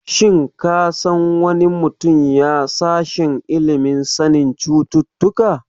Shin ka san wani mutum ya sashen ilimin sanin cututtuka?